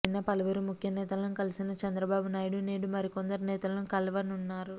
నిన్న పలువురు ముఖ్య నేతలను కలిసిన చంద్రబాబు నాయుడు నేడు మరికొందరు నేతలను కలువనున్నారు